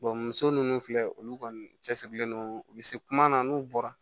muso ninnu filɛ olu kɔni cɛsirilen don u bɛ se kuma na n'u bɔra